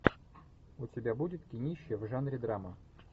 у тебя будет кинище в жанре драма